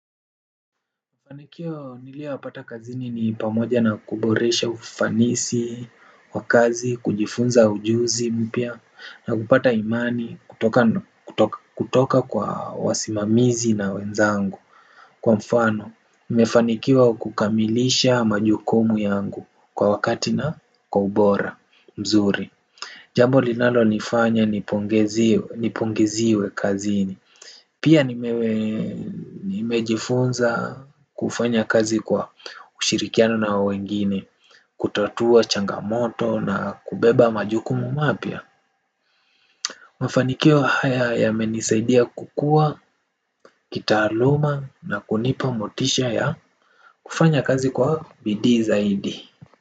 Mafanikio niliyoyapata kazini ni pamoja na kuboresha ufanisi wa kazi kujifunza ujuzi mpya na kupata imani kutoka kwa wasimamizi na wenzangu kwa mfano nimfanikiwa kukamilisha majukumu yangu kwa wakati na kwa ubora mzuri. Jambo linalo nifanya nipongeziwe kazini. Pia nimejifunza kufanya kazi kwa ushirikiano na wengine. Kutatua changamoto na kubeba majukumu mapya mafanikio haya yamenisaidia kukua, kitaaluma na kunipa motisha ya kufanya kazi kwa bidii zaidi.